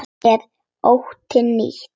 Er þetta ónýt vél?